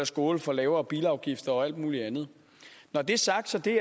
skåle for lavere bilafgifter og alt muligt andet når det er sagt er det